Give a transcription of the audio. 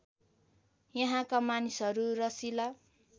यहाँका मानिसहरू रसिला